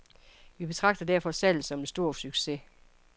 Vi betragter derfor salget som en stor succes.